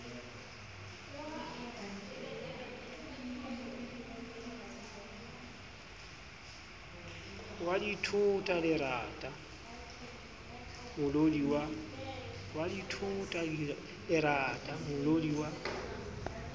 wa dithota lerata molodi wa